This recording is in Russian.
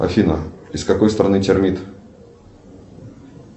афина из какой страны термит